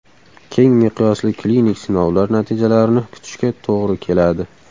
Keng miqyosli klinik sinovlar natijalarini kutishga to‘g‘ri keladi.